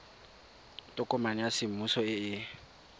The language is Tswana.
tokomane ya semmuso e e